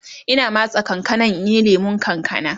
Ina matse kankanan in yi lemun kankana